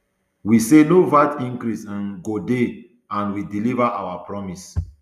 we say no vat increase um go dey and we deliva on our promise